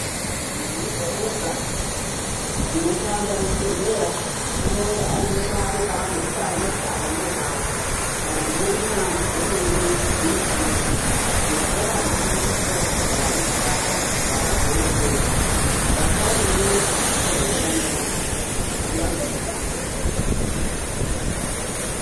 Munhu wega wega unoshanda muzvibhehleya unonga ainepakwe paanozikanwa kuti apa ndopakwe vantu vo inyanzvi dzemene mumishando yavo ngokuti vakazvifundira vakazvipasa vakazouye kuchioshanda ngativaremeredze peshe pavanonga vari ngekuti vanotibetsera.